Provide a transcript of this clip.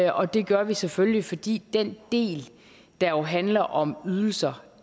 og det gør vi selvfølgelig fordi den del der jo handler om ydelser